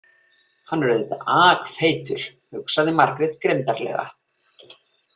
Hann er auðvitað akfeitur, hugsaði Margrét grimmdarlega.